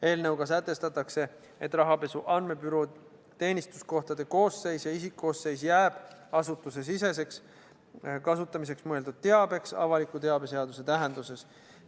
Eelnõuga sätestatakse, et Rahapesu Andmebüroo teenistuskohtade koosseis ja isikkoosseis jääb asutusesiseseks kasutamiseks mõeldud teabeks avaliku teabe seaduse tähenduses.